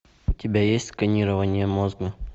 у тебя есть сканирование мозга